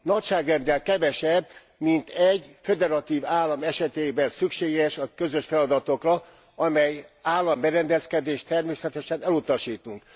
Nagyságrenddel kevesebb, mint egy föderatív állam esetében szükséges a közös feladatokra, amely államberendezkedést természetesen elutasítunk.